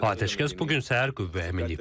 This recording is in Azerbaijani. Atəşkəs bu gün səhər qüvvəyə minib.